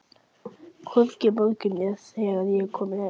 Hvorki í morgun né þegar ég kom heim.